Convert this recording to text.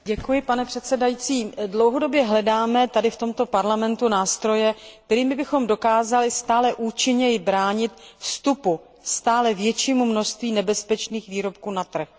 Pane předsedající, dlouhodobě hledáme tady v Parlamentu nástroje, kterými bychom dokázali stále účinněji bránit vstupu stále většího množství nebezpečných výrobků na trh.